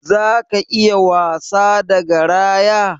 Zaka iya wasa da garaya?